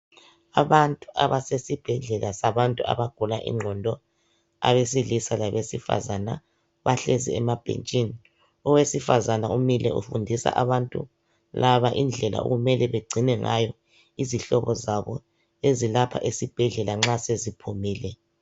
Abantu abesibhedlela sabantu abagula inqondo abesilisa labezifazana bahlezi emabhetshini owesifazana umile ufundisa abantu laba indlela okumele begcine ngayo izihlobo zabo ezilapha esibhedlela nxa seziphumile.